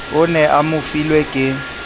o ne a mofilwe ke